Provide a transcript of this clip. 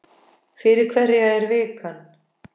Fyrir hverja er vikan?